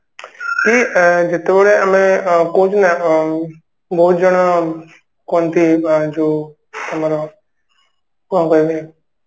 କି ଅ ଯେତେବେଳେ ଆମେ ଅ କହୁଛୁ ଅ ବହୁତ ଜଣ କୁହନ୍ତି ବା ଯୋଉ ଆମର ଅ କହିବି